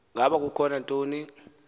ngaba kukho ntoni